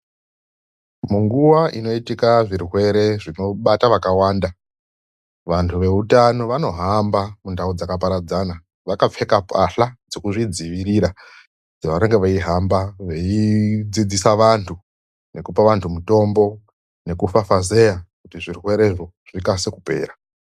Munguva inoitika zvirwere zvinobata vakawanda, vantu veutano vanohamba mundau dzakaparadzana, vakapfeka mbahla dzekuzvidzivirira pavanenge veihamba veidzidzisa vantu nekupa vantu mitombo nekufafazeya kuti zvirwerezvo zvikase kupera.